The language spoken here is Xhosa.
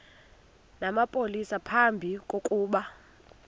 namapolisa phambi kokuba